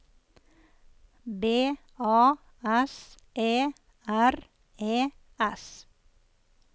B A S E R E S